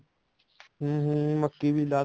ਹਮ ਹਮ ਮੱਕੀ ਵੀ ਲਾਤੀ